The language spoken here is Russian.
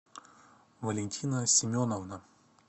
валентина семеновна